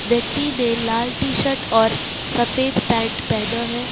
व्यक्ति ने लाल टी शर्ट और सफेद पैन्ट पहना है।